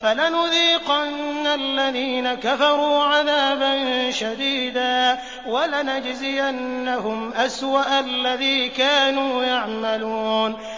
فَلَنُذِيقَنَّ الَّذِينَ كَفَرُوا عَذَابًا شَدِيدًا وَلَنَجْزِيَنَّهُمْ أَسْوَأَ الَّذِي كَانُوا يَعْمَلُونَ